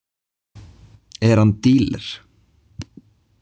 Er hann díler?